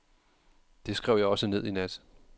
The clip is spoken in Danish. Det skrev jeg også ned i nat.